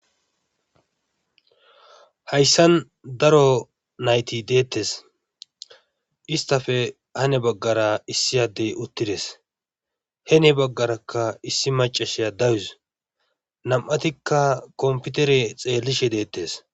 Hayssan daro nayti deettees isttafe hani bagaara issi addey uttides heni baggarakka issi maccashiya dawus nam7atikka kompitere xeellishe deettees.